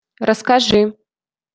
расскажи